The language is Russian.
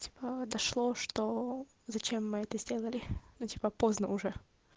типа дошло что зачем мы это сделали ну типа поздно уже